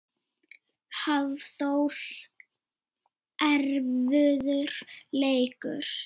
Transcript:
Hafþór: Erfiður leikur?